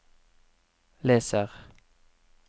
leser